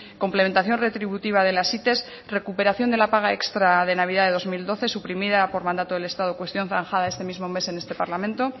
complementación retributiva de las it recuperación de la paga extra de navidad de dos mil doce suprimida por mandato del estado cuestión zanjada este mismo mes en este mismo parlamento